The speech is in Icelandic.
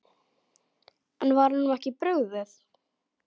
En var honum ekki brugðið?